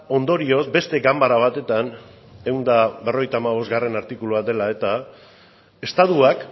ondorioz beste ganbara batetan ehun eta berrogeita hamabost artikulua dela eta estatuak